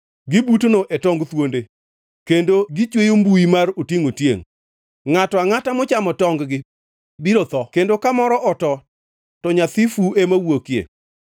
Gibutno e tong thuonde, kendo gichweyo mbuyi mar otiengʼ-otiengʼ. Ngʼato angʼata mochamo tongʼ-gi biro tho kendo kamoro oto to nyathi fu ema wuokie.